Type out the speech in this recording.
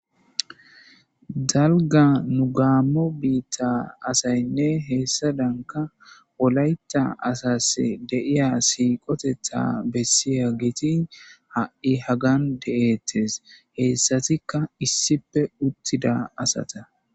Dalga mu gaammo biitta asaynne heessadanka wolaytta asase deiya siiqotetha bessiya giitin ha7i hagan de7ettes heessatikka issipe uttida asata.